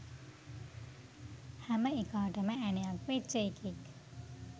හැම එකාටම ඇනයක් වෙච්ච එකෙක්